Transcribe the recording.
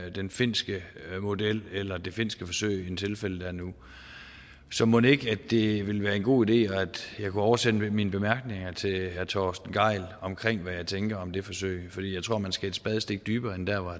i den finske model eller det finske forsøg end tilfældet er nu så mon ikke det ville være en god idé at jeg kunne oversende mine bemærkninger til herre torsten gejl omkring hvad jeg tænker om det forsøg for jeg tror man skal et spadestik dybere end der hvor